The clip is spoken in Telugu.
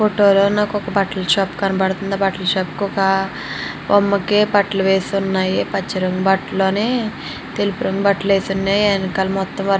ఈ ఫోటో లో నాకు ఒక బట్టల షాప్ కనబడతుంది ఆ బట్టల షాప్ కి ఒక బొమ్మ కి బట్టలు వేసి ఉన్నాయి పచ్చ రొంగు తెలుపు రొంగు బట్టలు వేసి ఉన్నాయి . వెనకాల మొత్తం --